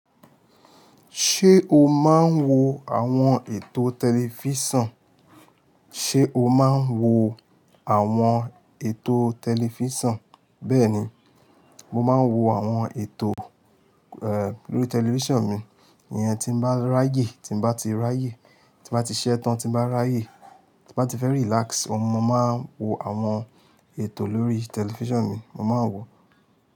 Ṣé o máa ń wo àwọn ètò tẹlifíṣàn? Ṣé o máa ń wo àwọn ètò tẹlifíṣàn? Bẹ́ẹ̀ni, mo máa ń wo àwọn ètò, eh, lórí tẹlifíṣàn mi. Èèyàn tí bá ráyè, tí bá ti ráyè, tí bá ti ṣẹ́ tán, tí bá ráyè, tí bá ti fẹ́ relax, ohun mo máa ń wo àwọn ètò lórí tẹlifíṣàn mi. Mo máa ń wò ó.